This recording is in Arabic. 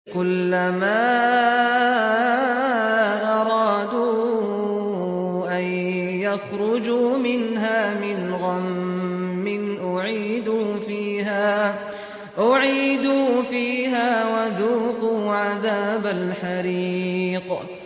كُلَّمَا أَرَادُوا أَن يَخْرُجُوا مِنْهَا مِنْ غَمٍّ أُعِيدُوا فِيهَا وَذُوقُوا عَذَابَ الْحَرِيقِ